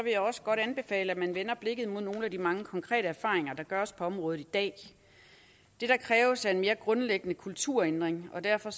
jeg også godt anbefale at man vender blikket mod nogle af de mange konkrete erfaringer der gøres på området i dag det der kræves er en mere grundlæggende kulturændring og derfor